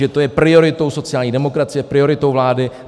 Že to je prioritou sociální demokracie, prioritou vlády.